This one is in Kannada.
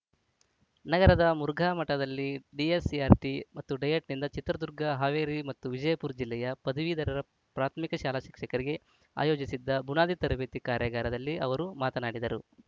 ನಗರದ ಮುರುಘಾ ಮಠದಲ್ಲಿ ಡಿಎಸ್‌ಇಆರ್‌ಟಿ ಮತ್ತು ಡಯಟ್‌ನಿಂದ ಚಿತ್ರದುರ್ಗ ಹಾವೇರಿ ಮತ್ತು ವಿಜಯಪುರ ಜಿಲ್ಲೆಯ ಪದವೀಧರ ಪ್ರಾಥಮಿಕ ಶಾಲಾ ಶಿಕ್ಷಕರಿಗೆ ಆಯೋಜಿಸಿದ್ದ ಬುನಾದಿ ತರಬೇತಿ ಕಾರ್ಯಾಗಾರದಲ್ಲಿ ಅವರು ಮಾತನಾಡಿದರು